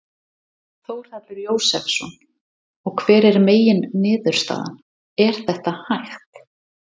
Þórhallur Jósefsson: Og hver er megin niðurstaða, er þetta hægt?